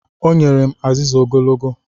O nyere m azịza ogologo.